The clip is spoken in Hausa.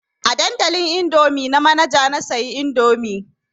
A dandalin indomie na Manaja na siyo indomie